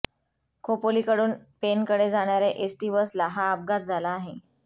खोपोलीकडून पेणकडे जाणाऱ्या एसटी बसला हा अपघात झाला आहे